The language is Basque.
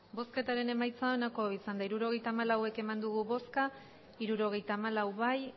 hirurogeita hamalau eman dugu bozka hirurogeita hamalau bai